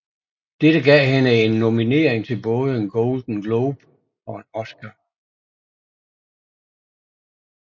Dette gav hende en nominering til både en Golden Globe og en Oscar